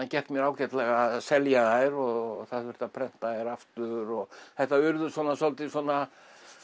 gekk mér ágætlega að selja þær og það þurfti að prenta þær aftur og þetta urðu svolítið svona